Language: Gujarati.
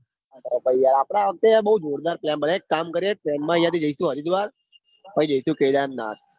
આપડા વખતે વખતે બૌ જોરદાર પ્રેમ હેડ આપડ એક કામ કરીએ train માં જઈસુ હરિદ્વાર પાહિ જઈસુ કેદારનાથ